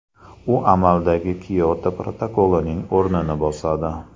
U amaldagi Kioto protokolining o‘rnini bosadi.